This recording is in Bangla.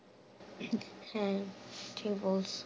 হ্যাঁ ঠিক বলছো